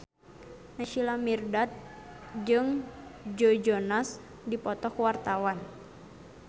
Naysila Mirdad jeung Joe Jonas keur dipoto ku wartawan